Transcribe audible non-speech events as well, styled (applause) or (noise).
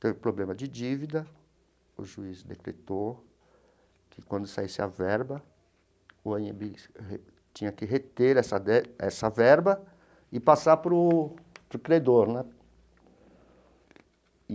Teve problema de dívida, o juiz decretou que quando saísse a verba, o (unintelligible) tinha que reter essa ver essa verba e passar para o para o credor né.